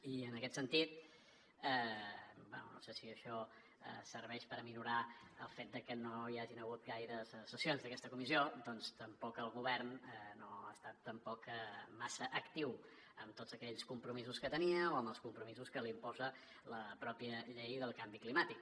i en aquest sentit i no sé si això serveix per minorar el fet de que no hi hagin hagut gaires sessions d’aquesta comissió doncs el govern no ha estat tampoc massa actiu en tots aquells compromisos que tenia o amb els compromisos que li imposa la mateixa llei del canvi climàtic